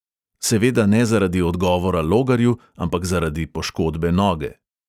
Seveda ne zaradi odgovora logarju, ampak zaradi poškodbe noge.